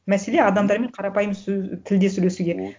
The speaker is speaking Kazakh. мәселе адамдармен қарапайым тілде сөйлесуге вот